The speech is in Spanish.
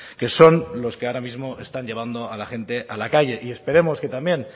que son los que ahora mismo están llevando a la gente a la calle y esperemos que también